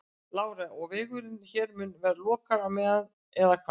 Lára: Og vegurinn hér mun vera lokaður á meðan eða hvað?